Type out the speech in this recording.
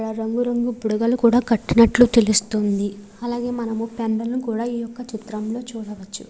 రంగు రంగు బుడగలు కూడా కట్టినట్లు తెలుస్తుంది . అలాగే మనము పెండలము కూడా ఈ చిత్రం లో చూడవచ్చు.